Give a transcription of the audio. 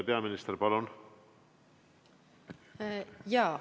Peaminister, palun!